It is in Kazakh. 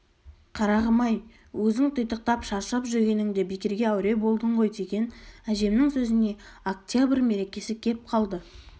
қарағым-ай өзің титықтап шаршап жүргеніңде бекерге әуре болдың ғой деген әжемнің сөзіне октябрь мерекесі кеп қалды